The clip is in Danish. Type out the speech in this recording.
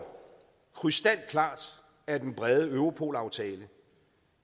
krystalklart af den brede europolaftale